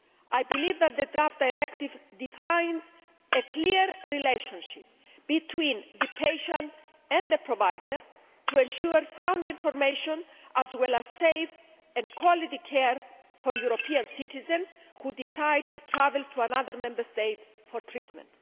I believe that the draft directive defines a clear relationship between the patient and the provider to ensure sound information as well as safe and quality care for European citizens who decide to travel to another Member State for treatment.